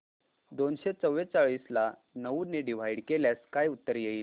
दोनशे चौवेचाळीस ला नऊ ने डिवाईड केल्यास काय उत्तर येईल